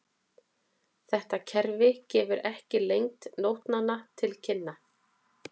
Þetta kerfi gefur ekki lengd nótnanna til kynna.